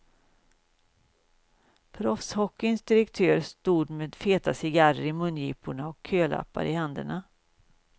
Proffshockeyns direktörer stod med feta cigarrer i mungiporna och kölappar i händerna.